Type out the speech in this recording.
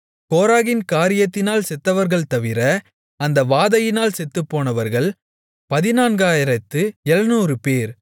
கோராகின் காரியத்தினால் செத்தவர்கள் தவிர அந்த வாதையினால் செத்துப்போனவர்கள் 14700 பேர்